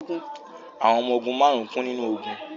Àwọn ọmọ ogun márùn-ún kú nínú ogun